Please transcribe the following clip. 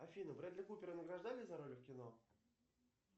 афина брэдли купера награждали за роли в кино